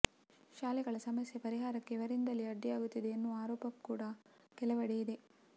ಶಾಲೆಗಳ ಸಮಸ್ಯೆ ಪರಿಹಾರಕ್ಕೆ ಇವರಿಂದಲೇ ಅಡ್ಡಿಯಾಗುತ್ತಿದೆ ಎನ್ನುವ ಆರೋಪ ಕೂಡ ಕೆಲವೆಡೆ ಇದೆ